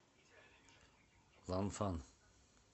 ланфан